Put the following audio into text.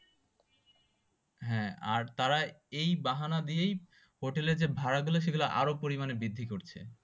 হাঁ আর তারা এই বাহানা দিয়েই হোটেল এর যা ভাড়া গুলো সেগুলো আরো পরিমানে বৃদ্ধি করছে